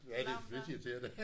Ja det er pisseirriterende